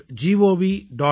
gov